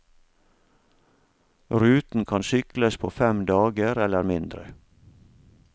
Ruten kan sykles på fem dager eller mindre.